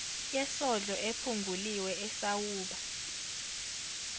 yesodlo ephunguliwe ezawuba